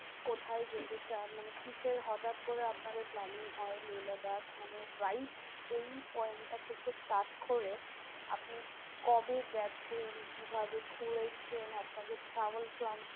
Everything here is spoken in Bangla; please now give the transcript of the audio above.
কোথায় যেতে চান? মানে কিসের হটাৎ করে আপনাদের planning হয় লেহ লাদাখ? মানে right কোন point টা থেকে start করে আপনি কবে গেছেন? কিভাবে ঘুরেছেন? আপনাদের travel plan